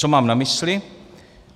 Co mám na mysli?